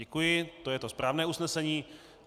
Děkuji, to je to správné usnesení.